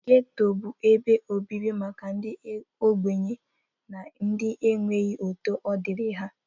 Getto bụ ebe obibi maka ndị ogbenye na ndị na-enweghi otu odiri ha.